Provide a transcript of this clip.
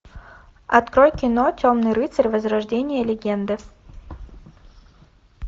открой кино темный рыцарь возрождение легенды